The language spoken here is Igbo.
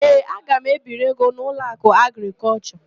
Ee, aga m ebiri ego n'Ụlọakụ Agrịkọlshọ.